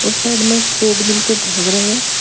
Side में एक treadmill पे भाग रहे हैं।